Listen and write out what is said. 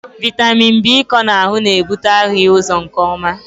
Vitamin B ịkọ n'ahụ na-ebute ahụghị ụzọ nke ọma.